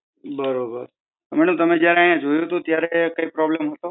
બરોબર. madam તમે જયારે જોયો થો ત્યારે કઈ problem હતો?